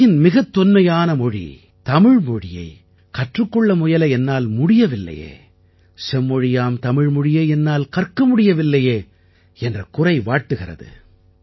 உலகின் மிகத் தொன்மையான மொழி தமிழ் மொழியை கற்றுக் கொள்ள முயல என்னால் முடியவில்லையே செம்மொழியாம் தமிழ் மொழியை என்னால் கற்க முடியவில்லையே என்ற குறை வாட்டுகிறது